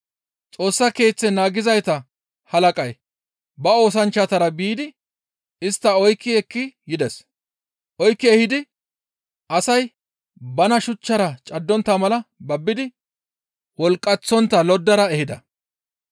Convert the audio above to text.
Xoossa Keeththe naagizayta halaqay ba oosanchchatara biidi istta oykki ekki yides; oykki ehidayti asay bana shuchchara caddontta mala babbidi wolqqaththontta loddara ehida.